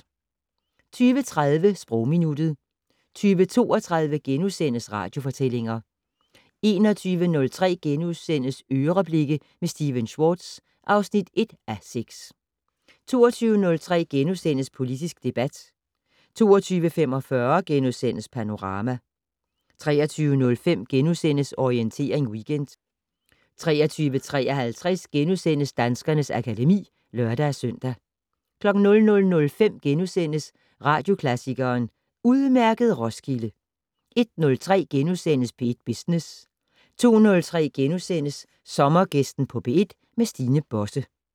20:30: Sprogminuttet 20:32: Radiofortællinger * 21:03: "Øreblikke" med Stephen Schwartz (1:6)* 22:03: Politisk debat * 22:45: Panorama * 23:05: Orientering Weekend * 23:53: Danskernes akademi *(lør-søn) 00:05: Radioklassikeren: Udmærket Roskilde! * 01:03: P1 Business * 02:03: Sommergæsten på P1: Stine Bosse *